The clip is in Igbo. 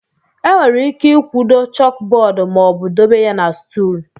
Enwere ike ịkwudo chókbọọdụ ma ọ bụ dobe ya na stùl